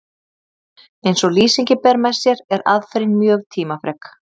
Eins og lýsingin ber með sér er aðferðin mjög tímafrek.